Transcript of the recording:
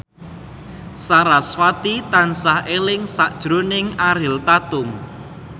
sarasvati tansah eling sakjroning Ariel Tatum